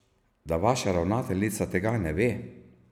Da vaša ravnateljica tega ne ve?